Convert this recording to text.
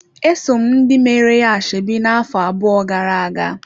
Esom ndị meere ya ashebi ya na-afọ abụọ gara-aga.